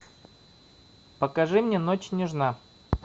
покажи мне ночь нежна